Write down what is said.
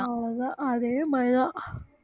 அவ்வளவுதான் அதே பயம்